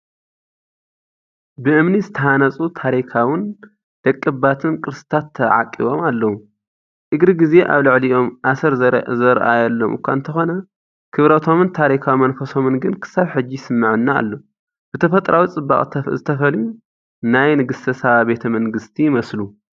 ብእምኒ ዝተሃንጹ ታሪኻውን ደቀባትን ቅርስታት ተዓቂቦም ኣለዉ። እግሪ ግዜ ኣብ ልዕሊኦም ኣሰር ዘርኣየሎም እኳ እንተኾነ፡ ክብረቶምን ታሪኻዊ መንፈሶምን ግን ክሳብ ሕጂ ይስመዓና ኣሎ፤ ብተፈጥሮኣዊ ጽባቐ ዝተፈልዩ ናይ ንግስተ ሳባ ቤተ መንግስቲ ይመስሉ።